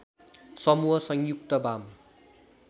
समूह संयुक्त वाम